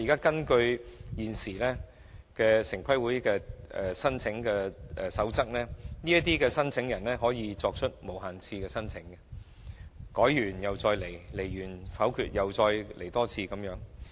根據現時城規會的申請守則，申請人可以無限次提出申請，在申請遭否決後依然可以再次提交申請。